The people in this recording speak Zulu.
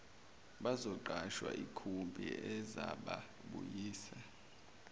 bazoqasha ikhumbi ezababuyisa